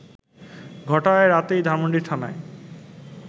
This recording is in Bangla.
ঘটায় রাতেই ধানমণ্ডি থানায়